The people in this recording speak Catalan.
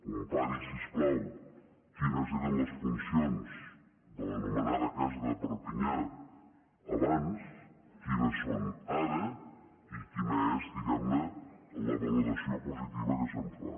compari si us plau quines eren les funcions de l’anomenada casa de perpinyà abans quines són ara i quina és diguem ne la valoració positiva que se’n fa